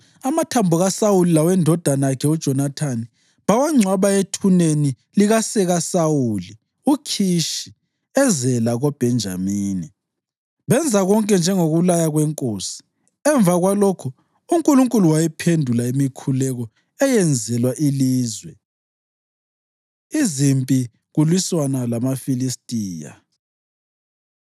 Amathambo kaSawuli lawendodana yakhe uJonathani bawangcwaba ethuneni likasekaSawuli uKhishi, eZela koBhenjamini, benza konke njengokulaya kwenkosi. Emva kwalokho uNkulunkulu wayiphendula imikhuleko eyenzelwa ilizwe. Izimpi Kulwisana LamaFilistiya